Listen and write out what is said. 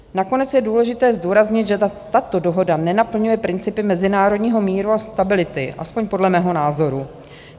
Nakonec je důležité zdůraznit, že tato dohoda nenaplňuje principy mezinárodního míru a stability, alespoň podle mého názoru.